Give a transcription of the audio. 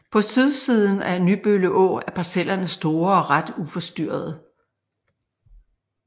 På sydsiden af Nybølle Å er parcellerne store og ret uforstyrrede